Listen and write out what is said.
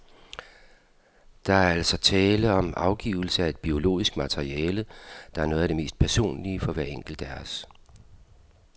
Der er altså tale om afgivelse af et biologisk materiale, der er noget af det mest personlige for hver enkelt af os.